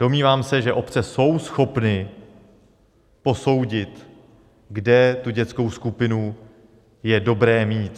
Domnívám se, že obce jsou schopny posoudit, kde tu dětskou skupinu je dobré mít.